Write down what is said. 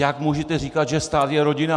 Jak můžete říkat, že stát je rodina?